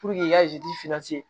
i ka